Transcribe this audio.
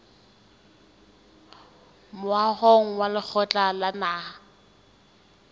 moahong wa lekgotla la naha